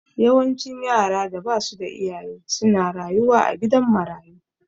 Yawancin yaran da basu da iyaye su na rayuwa a gidan marayu